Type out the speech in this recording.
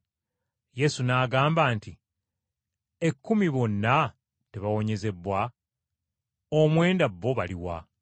Yesu n’agamba nti, “Ekkumi bonna tebaawonyezebbwa? Omwenda bo baluwa?